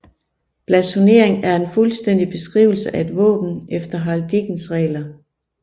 Blasonering er en fuldstændig beskrivelse af et våben efter heraldikkens regler